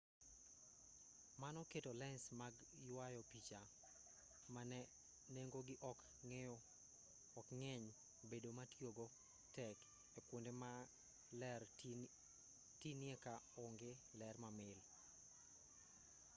mano keto lens mag yuayo picha ma nengogi ok ng'eny bedo ma tiyogo tek e kuonde ma ler tinie ka onge ler mamil